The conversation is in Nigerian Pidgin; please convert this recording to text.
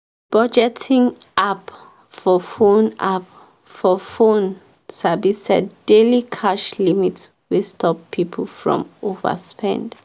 budgeting app for phone app for phone sabi set daily cash limit wey stop people from overspend.